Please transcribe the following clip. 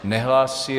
Nehlásí.